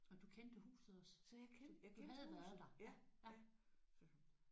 Og du kendte huset også? Du havde været der?